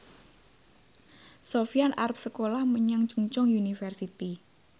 Sofyan arep sekolah menyang Chungceong University